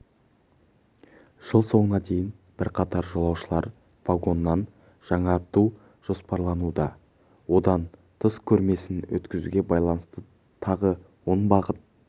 жыл соңына дейін бірқатар жолаушылар вагонын жаңарту жоспарлануда одан тыс көрмесін өткізуге байланысты тағы он бағыт